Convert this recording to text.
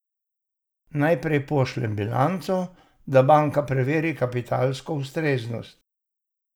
Najprej pošljem bilanco, da banka preveri kapitalsko ustreznost.